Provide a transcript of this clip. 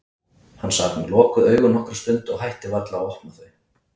Hann sat með lokuð augun nokkra stund og hætti varla á að opna þau.